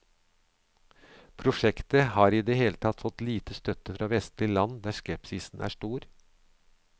Prosjektet har i det hele tatt fått lite støtte fra vestlige land, der skepsisen er stor.